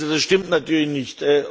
Das stimmt natürlich nicht.